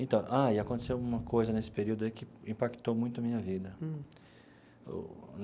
Então... Ah, e aconteceu uma coisa nesse período aí que impactou muito a minha vida o.